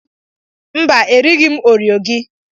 Mba, erighị m oreo gị.